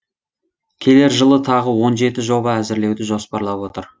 келер жылы тағы он жеті жоба әзірлеуді жоспарлап отыр